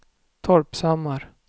Torpshammar